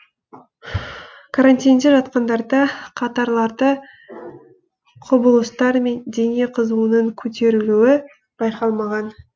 карантинде жатқандарда катаралды құбылыстар мен дене қызуының көтерілуі байқалмаған